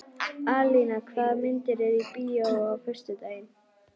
Alíana, hvaða myndir eru í bíó á föstudaginn?